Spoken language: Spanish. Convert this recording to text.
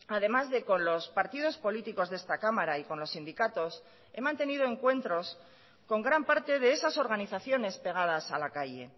además de con los partidos políticos de esta cámara y con los sindicatos he mantenido encuentros con gran parte de esas organizaciones pegadas a la calle